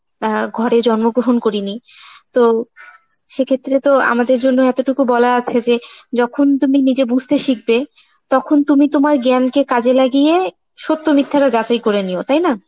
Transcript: অ্যাঁ ঘরে জন্মগ্রহণ করিনি. তো সে ক্ষেত্রে তো আমাদের জন্য এতোটুকু বলা আছে যে যখন তুমি নিজে বুঝতে শিখবে তখন তুমি তোমার জ্ঞানকে কাজে লাগিয়ে সত্য মিথ্যা তা যাচাই করে নিও, তাই না?